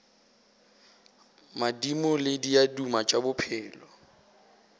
madimo le diaduma tša bophelo